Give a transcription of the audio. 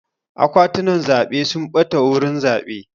Akwatunan zaɓe sun ɓata a wurin zaɓe.